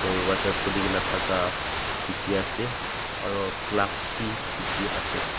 Dworja khulikena thaka dekhe ase aro glass bhi dekhe ase.